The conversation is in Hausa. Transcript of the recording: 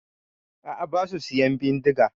A'a basu siyan bindiga.